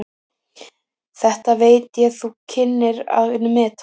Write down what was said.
Þetta veit ég þú kynnir að meta.